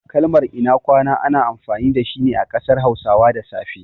Kalmar "ina kwana" ana amfani dashi ne a ƙasar hausawa da safe.